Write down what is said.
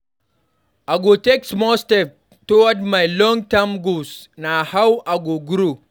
I go take small steps towards my long-term goals; na how I go grow.